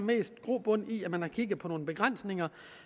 grobund i at man har kigget på nogle begrænsninger